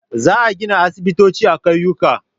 Za a gina aisibitoci a ƙauyuka.